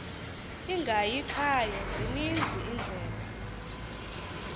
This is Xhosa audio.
ingayikhaya zininzi iindlela